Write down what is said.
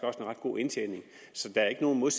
god indtjening så der er ikke noget